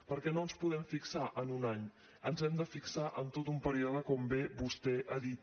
perquè no ens podem fixar en un any ens hem de fixar en tot un període com bé vostè ha dit